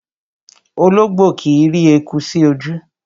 Ológbò kìí rí eku sí ojú